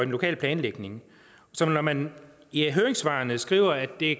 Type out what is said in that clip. lokale planlægning så når man i høringssvarene skriver at det